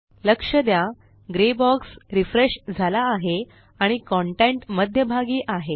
लक्ष द्या grey box refresh झाला आहे आणि कंटेंट मध्यभागी आहे